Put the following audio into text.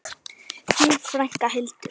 Þín frænka, Hildur.